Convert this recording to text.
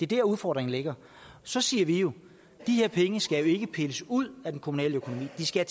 der udfordringen ligger så siger vi jo de her penge skal ikke pilles ud af den kommunale økonomi de skal